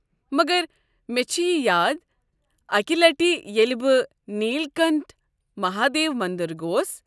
مگر مےٚ چھ یہ یاد اکہ لٹہ ییٚلہ بہٕ نیل کنٹھ مہادیو مندر گوس ۔